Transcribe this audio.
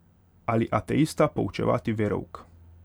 Ali ateista poučevati verouk.